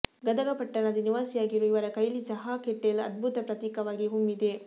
ಗದಗ ಪಟ್ಟಣದ ನಿವಾಸಿಯಾಗಿರುವ ಇವರ ಕೈಲಿ ಚಹಾ ಕೆಟೆಲ್ ಅದ್ಭುತ ಪ್ರತೀಕವಾಗಿ ಹೊಮ್ಮಿದೆ